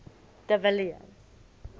de villiers